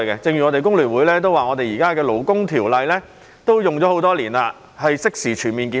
正如工聯會亦說，現時的勞工條例已沿用多年，應適時全面檢討。